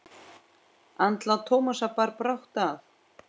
Andlát Tómasar bar brátt að.